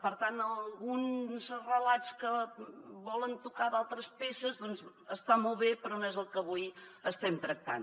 per tant alguns relats que volen tocar d’altres peces doncs està molt bé però no és el que avui estem tractant